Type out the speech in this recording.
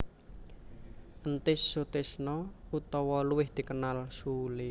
Entis Sutisna utawa luwih dikenal Sule